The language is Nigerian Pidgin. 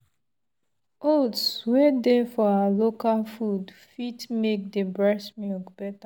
oats wey dey for our local food fit make the breast milk better.